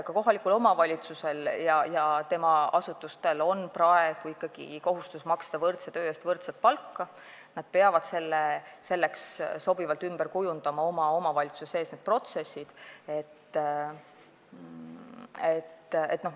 Ka kohalikul omavalitsusel ja tema asutustel on praegu ikkagi kohustus maksta võrdse töö eest võrdset palka, nad peavad selleks omavalitsuse sees need protsessid sobivalt ümber kujundama.